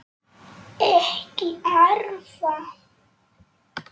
Ekki arða.